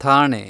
Thane